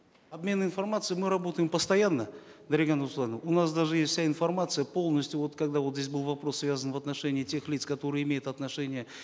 обмен информацией мы работаем постоянно дарига нурсултановна у нас даже есть вся информация полностью вот когда вот здесь был вопрос связанный в отношении тех лиц которые имеют отношение